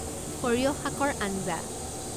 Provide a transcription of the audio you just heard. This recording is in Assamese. সৰিয়হ শাকৰ আঞ্জা